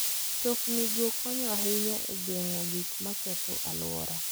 Mtoknigo konyo ahinya e geng'o gik maketho alwora.